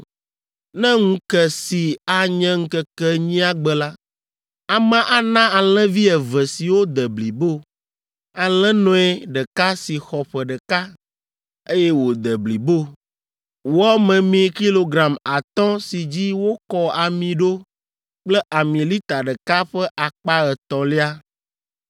“Ne ŋu ke si anye ŋkeke enyia gbe la, amea ana alẽvi eve siwo de blibo, alẽnɔe ɖeka si xɔ ƒe ɖeka, eye wòde blibo, wɔ memee kilogram atɔ̃ si dzi wokɔ ami ɖo kple ami lita ɖeka ƒe akpa etɔ̃lia.